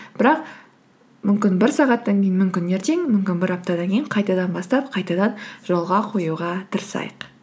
бірақ мүмкін бір сағаттан кейін мүмкін ертең мүмкін бір аптадан кейін қайтадан бастап қайтадан жолға қоюға тырысайық